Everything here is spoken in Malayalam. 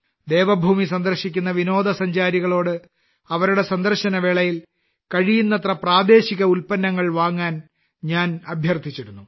ദേവഭൂമി സന്ദർശിക്കുന്ന വിനോദസഞ്ചാരികളോട് അവരുടെ സന്ദർശന വേളയിൽ കഴിയുന്നത്ര പ്രാദേശിക ഉൽപ്പന്നങ്ങൾ വാങ്ങാൻ ഞാൻ അഭ്യർത്ഥിച്ചിരുന്നു